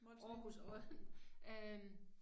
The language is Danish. Molslinjen